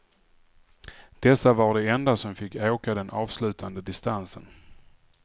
Dessa var de enda som fick åka den avslutande distansen.